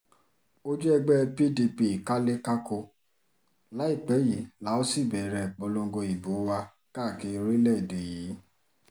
ojú ẹgbẹ́ pdp kalẹ̀ kákò láìpẹ́ yìí la ó sì bẹ̀rẹ̀ ìpolongo ìbò wa káàkiri orílẹ̀-èdè yìí